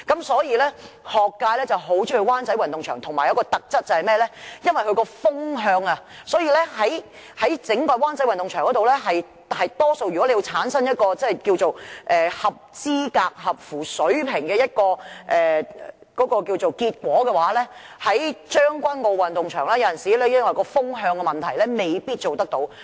所以，學界很喜歡到灣仔運動場，而它亦有一個特質，便是風向適中，所以在灣仔運動場，可以產生合資格、合乎水平的結果，而將軍澳運動場有時因為風向的問題，未必做得到。